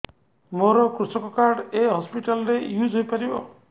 ମୋର କୃଷକ କାର୍ଡ ଏ ହସପିଟାଲ ରେ ୟୁଜ଼ ହୋଇପାରିବ